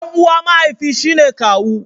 Dan uwa mahaifi shi ne kawu.